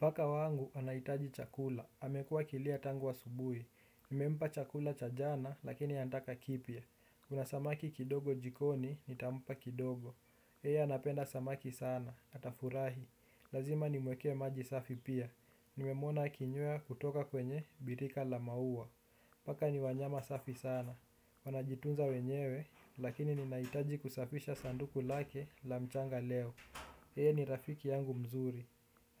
Paka wangu, anaitaji chakula. Amekua akilia tangu asubui. Nimempa chakula cha jana, lakini anataka kipya. Kuna samaki kidogo jikoni, nitampa kidogo. Yeye anapenda samaki sana. Atafurahi. Lazima nimwekee maji safi pia. Nimemwona kinywea kutoka kwenye, birika la maua. Paka ni wanyama safi sana. Wanajitunza wenyewe, lakini ninaitaji kusafisha sanduku lake la mchanga leo. Yeye ni rafiki yangu mzuri.